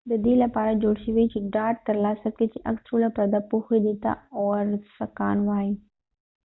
دا د دې لپاره جوړ شوي چې ډاډ ترلاسه کړي چې عکس ټوله پرده پوښي دې ته اوورسکان وایي